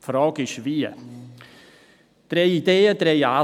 Die Frage ist, wie dies geschehen könnte.